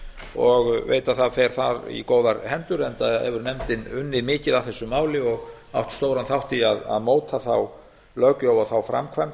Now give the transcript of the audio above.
og veit að það fer þar í góðar hendur enda hefur nefndin unnið mikið að þessu máli og átt stóran þátt í að móta þá löggjöf og þá framkvæmd